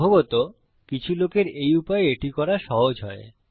সম্ভবত কিছু লোকের এই উপায়ে এটি করা সহজ হয়